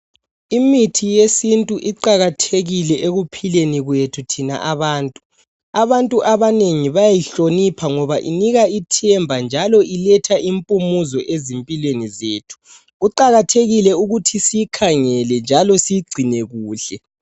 Imithi yesintu iqakathekile ekuphileni kwethu thina abantu. Abantu bayayihlonipha ngoba inika ithemba njalo iletha impumuzo ezimpilweni zethu kuqakathekile ukuthi siyikhangele njalo siyigcine kuhle.